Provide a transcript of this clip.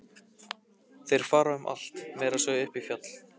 Þeir fara um allt, meira að segja upp í fjall.